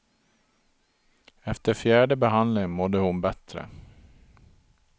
Efter fjärde behandlingen mådde hon bättre.